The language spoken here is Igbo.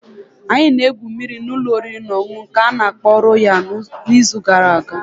Anyị na-egwu mmiri na ụlọ oriri na ọṅụṅụ nke ana-akpo Royal n'izu gara aga.